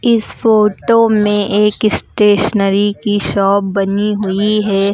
इस फोटो में एक स्टेशनरी की शॉप बनी हुई है।